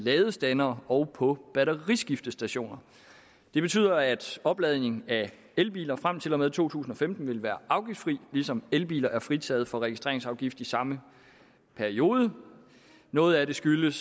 i ladestandere og på batteriskiftestationer det betyder at opladning af elbiler frem til og med to tusind og femten vil være afgiftsfri ligesom elbiler er fritaget for registreringsafgift i samme periode noget af det skyldes